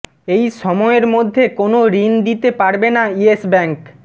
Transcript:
এই সময়ের মধ্যে কোনও ঋণ দিতে পারবে না ইয়েস ব্যাঙ্ক